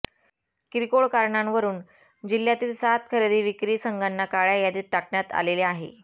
किरकोळ कारणांवरून जिल्ह्यातील सात खरेदीविक्री संघाना काळ्या यादीत टाकण्यात आलेले आहे